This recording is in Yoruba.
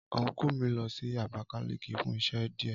Ọnkú mi lọ sí abakaliki fún iṣẹ́ díè